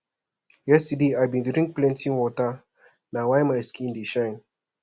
yesterday i bin drink plenty water na why my skin dey shine